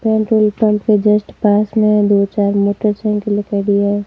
Petrol pump के just पास मे दो चार मोटर साइकिल दिखाई दिया है।